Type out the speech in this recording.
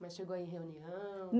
Mas chegou aí em reunião?